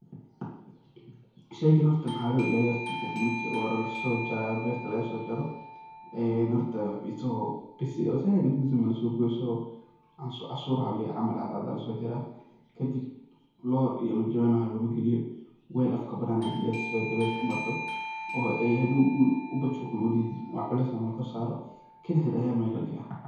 Sheygaan horta mxa loilaliyaa marka ugu hore ee laso jarayaa oo berta lagasojaro, ee horta asago zaid u bisil ama zaid u gadudan lama so goynayo, asago casur camal cadcad aya laso jarayaa. Kadib lor iyo jawaan waxaa lama galiyo, waal afka kabanan aya lagaliyaa si ay dabesha ay u marto oo ay hadow wuxu bujug me udihin wax culeysna lama kor saro, kali hed ayaa mel ladhiga.